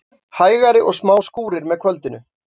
Hægari og smá skúrir með kvöldinu